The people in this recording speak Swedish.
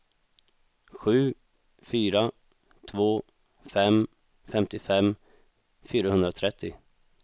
sju fyra två fem femtiofem fyrahundratrettio